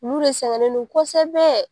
Olu de sɛgɛnnen don kosɛbɛbɛ.